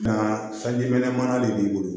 Nka sanji mana de b'i bolo